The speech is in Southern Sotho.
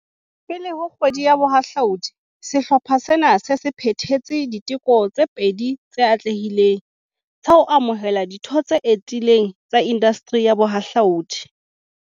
Pele ho Kgwedi ya Boha hlaudi, sehlopha sena se se phethetse diteko tse pedi tse atlehileng, tsa ho amohela ditho tse etileng tsa indasteri ya bohahlaudi.